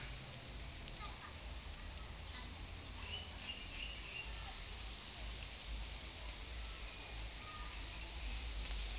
ke ke ya leshwa ke